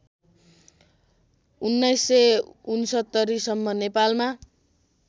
१९६९ सम्म नेपालमा